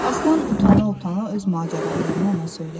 Aslan utana-utana öz macəralarını ona söylədi.